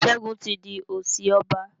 Segun tí dì osi ọba.